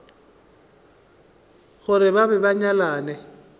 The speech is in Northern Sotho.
gore ba be ba nyalane